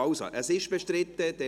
– Ja, es ist bestritten, gut.